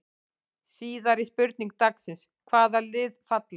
Síðari spurning dagsins: Hvaða lið falla?